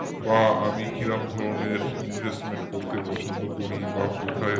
বা আমি কিরকম ধরনের investment করতে পছন্দ করি বা কোথায়